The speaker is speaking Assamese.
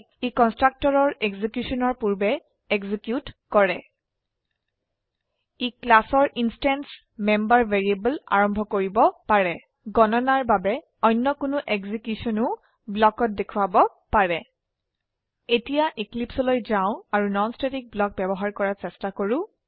ই কন্সট্ৰাকটৰৰ এক্সিকিউশনৰ পূৰ্বে এক্সিকিউট কৰে ই ক্লাসৰ ইনস্ট্যান্স মেম্বাৰ ভ্যাৰিয়েবল আৰম্ভ কৰিব পাৰে গণনাৰ বাবে অন্য কোনো এক্সিকিউশনও ব্লকত দেখোৱাব পাৰে এতিয়া Eclipseলৈ যাও আৰু নন স্ট্যাটিক ব্লক ব্যবহাৰ কৰাৰ চেষ্টা কৰো